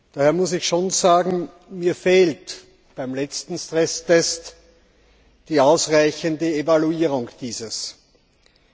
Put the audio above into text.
Daher muss ich schon sagen, mir fehlt beim letzten Stresstest die ausreichende Evaluierung dieses Tests.